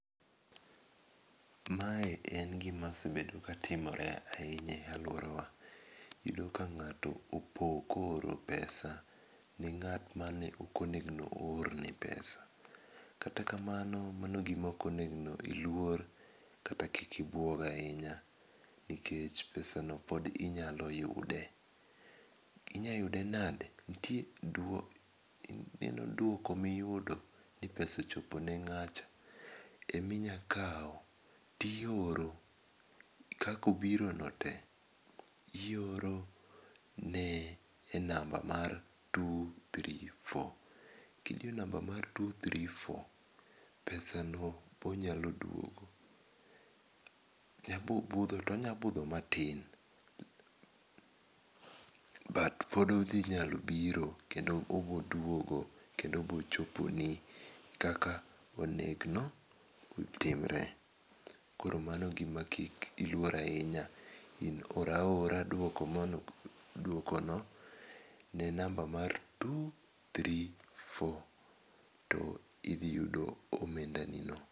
Mae en gima osebedo ka timore ahinya e aluora wa. Iyudo ka ng'ato opo ko oro pesa ne ng'at mane ok onengo o orne pesa. Kata kamano mano gima ok onengo iluor kata kik ibuog ahinya nikech pesano pod inyalo yude. Inyalo yude nade? Nitie duoko ineno duoko miyudo ni pesa ochopo ne ng'acha emi nyakawo to i oro kaka obiro no te. I oro ne e namba mar two three four]. Gidiyo namba mar two three four, pesa no onyalo dwogo. Budho to onya budho matin but pod odhi nyalo biro kendo obo duogo kendo obo choponi kaka onego otimre. Koro mano gima kik iluor ahinya. In or aora dwoko mano dwoko no ne namba mar two three four to idhi yudo omenda ni no.